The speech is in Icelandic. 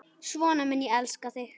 Svona mun ég elska þig.